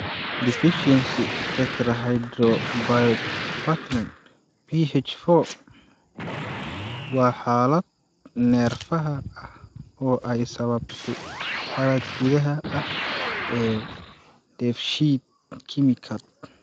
Deficiency Tetrahydrobiopterin (BH4) waa xaalad neerfaha ah oo ay sababtay qalad gudaha ah ee dheef-shiid kiimikaad.